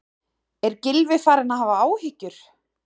Er Gylfi farinn að hafa áhyggjur?